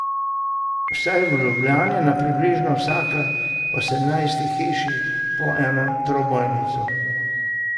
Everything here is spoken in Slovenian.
Vsaj v Ljubljani na približno vsake osemnajsti hiši po ena trobojnica.